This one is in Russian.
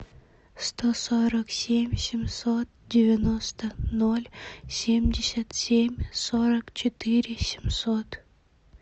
сто сорок семь семьсот девяносто ноль семьдесят семь сорок четыре семьсот